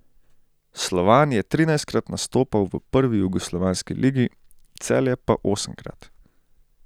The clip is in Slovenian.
Slovan je trinajstkrat nastopal v prvi jugoslovanski ligi, Celje pa osemkrat.